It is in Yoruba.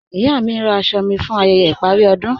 Iya mí ǹ rá àṣọ̀ mí fún ayẹyẹ̀ iparí ọdún.